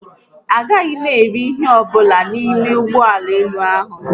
Agaghị m eri ihe ọbụla n'ime ụgbọelu ahụ